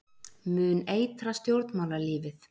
Mun eitra stjórnmálalífið